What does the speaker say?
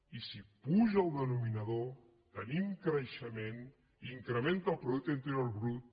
i si puja el denominador tenim creixement i incrementa el producte interior brut